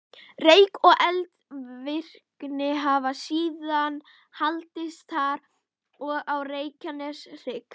Rek og eldvirkni hafa síðan haldist þar og á Reykjaneshrygg.